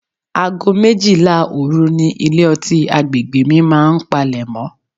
Ago méjìlá òru ni ilé-ọtí àgbègbè mi máa ń palemo.